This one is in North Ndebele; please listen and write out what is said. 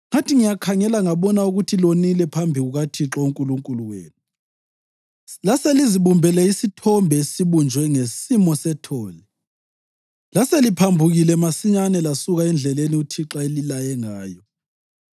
Ngathi ngiyakhangela ngabona ukuthi lonile phambi kukaThixo uNkulunkulu wenu; laselizibumbele isithombe esibunjwe ngesimo sethole. Laseliphambukile masinyane lasuka endleleni uThixo ayelilaye ngayo.